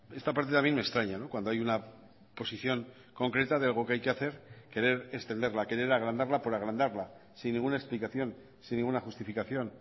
esta parte también me extraña cuando hay una posición concreta de algo que hay que hacer querer extenderla querer agrandarla por agrandarla sin ninguna explicación sin ninguna justificación